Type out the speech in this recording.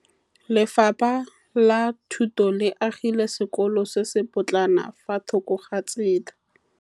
Lefapha la Thuto le agile sekôlô se se pôtlana fa thoko ga tsela.